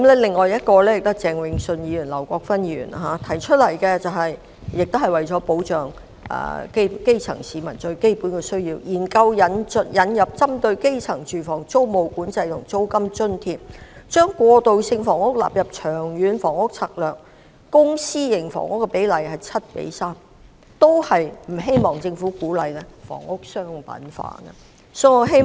至於鄭泳舜議員及劉國勳議員提出的議案，亦是為保障基層市民能應付基本需要，建議研究引入針對基層住房的租務管制措施及租金津貼，把過渡性房屋納入《長遠房屋策略》，公私營房屋比例應為 7：3， 以及反對政府鼓勵房屋商品化。